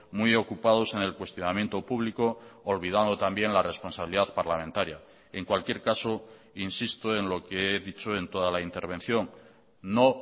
muy ocupados en el cuestionamiento público olvidando también la responsabilidad parlamentaria en cualquier caso insisto en lo que he dicho en toda la intervención no